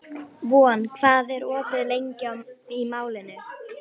Von, hvað er opið lengi í Málinu?